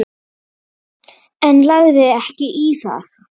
En lagði ekki í það.